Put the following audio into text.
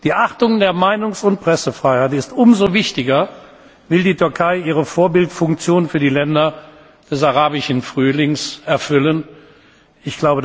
Die Achtung der Meinungs und Pressefreiheit ist umso wichtiger, wenn die Türkei ihre Vorbildfunktion für die Länder des Arabischen Frühlings erfüllen